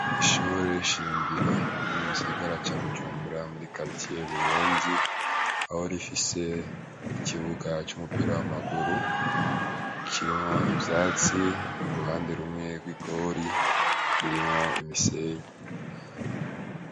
Ishure shingiro ryo mugisagara ca bujumbura muri karitiye ya buyenzi aho rifise ikibuga c'umupira w'amaguru kirimwo ivyatsi uruhande rumwe gw'igori rurimwo umusenyi.